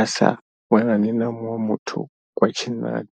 asa vhonani na muṅwe muthu wa tshinnani.